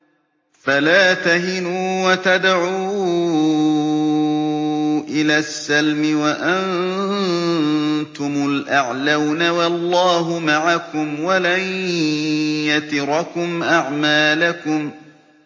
فَلَا تَهِنُوا وَتَدْعُوا إِلَى السَّلْمِ وَأَنتُمُ الْأَعْلَوْنَ وَاللَّهُ مَعَكُمْ وَلَن يَتِرَكُمْ أَعْمَالَكُمْ